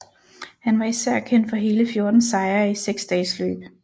Han var især kendt for hele 14 sejre i seksdagesløb